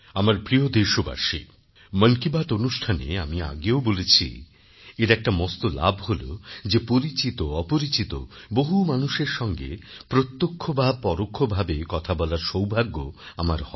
আমার প্রিয় দেশবাসী মন কি বাত অনুষ্ঠানে আমি আগেও বলেছি এর একটা মস্ত লাভ হল যে পরিচিতঅপরিচিত বহু মানুষের সঙ্গে প্রত্যক্ষ বা পরোক্ষভাবে কথা বলার সৌভাগ্য আমার হয়